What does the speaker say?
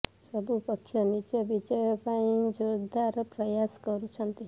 ସବୁ ପକ୍ଷ ନିଜ ବିଜୟ ପାଇଁ ଜୋରଦାର ପ୍ରୟାସ କରୁଛନ୍ତି